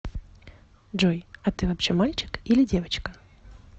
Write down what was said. джой а ты вообще мальчик или девочка